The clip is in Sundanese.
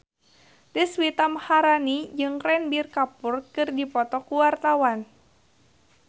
Deswita Maharani jeung Ranbir Kapoor keur dipoto ku wartawan